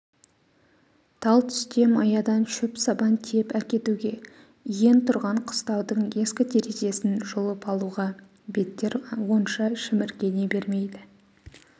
талтүсте маядан шөп-сабан тиеп әкетуге иен тұрған қыстаудың ескі терезесін жұлып алуға беттер онша шіміркене бермейді